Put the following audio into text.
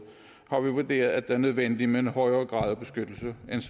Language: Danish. vurderet at det er nødvendigt med en højere grad af beskyttelse